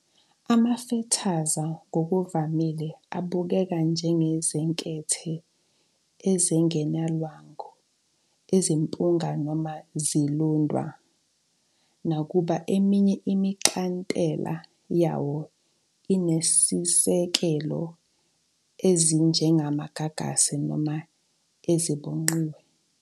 Amafethaza ngokuvamile abukeka njengezinkethe ezingenalwangu ezimpunga noma ezilundwa, nakuba eminye imixhantela yawo inezisekelo ezinjengamagagasi noma ezibhonqiwe.